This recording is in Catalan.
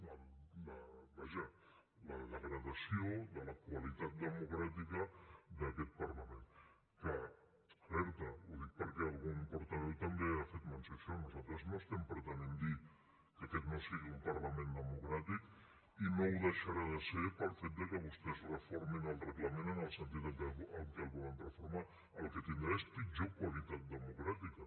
vaja la degradació de la qualitat democràtica d’aquest parlament que alerta ho dic perquè algun portaveu també ha fet menció d’això nosaltres no estem pretenent dir que aquest no sigui un parlament democràtic i no ho deixarà de ser pel fet de que vostès reformin el reglament en el sentit amb què el volen reformar el que tindrà és pitjor qualitat democràtica